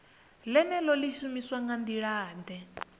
ḽeneḽo ḽi shumiswa nga nḓilaḓe